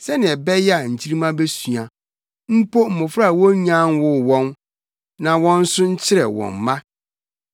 sɛnea ɛbɛyɛ a nkyirimma besua, mpo mmofra a wonnya nwoo wɔn, na wɔn nso akyerɛkyerɛ wɔn mma.